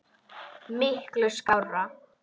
Miklu skárra.